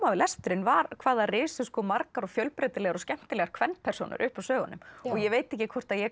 við lesturinn var hvað það risu margar fjölbreytilegar og skemmtilegar kvenpersónur upp úr sögunum og ég veit ekkert hvort ég